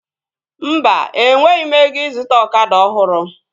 Mba, enweghị m ego ịzụta ọkada ọhụrụ